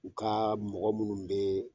U ka mɔgɔ minnu bɛ